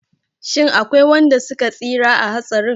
Shin akwai wanda suka tsira a hatsarin?